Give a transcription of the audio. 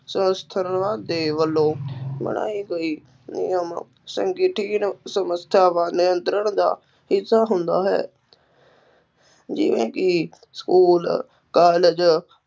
ਦੇ ਵੱਲੋਂ ਬਣਾਏ ਗਏ ਨਿਯਮ ਸਮੱਸਿਆ ਵੱਲ ਨਿਯੰਤਰਣ ਦਾ ਹਿੱਸਾ ਹੁੰਦਾ ਹੈ ਜਿਵੇਂ ਕਿ ਸਕੂਲ, ਕਾਲਜ